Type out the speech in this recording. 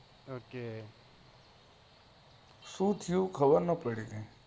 ok શું થી ખબર નાઈ પડી કૈક